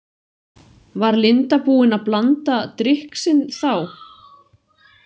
Var Linda búin að blanda drykk sinn þá?